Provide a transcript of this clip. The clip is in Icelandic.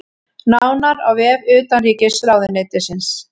Nánar á vef utanríkisráðuneytisins